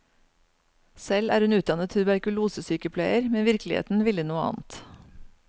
Selv er hun utdannet tuberkulosesykepleier, men virkeligheten ville noe annet.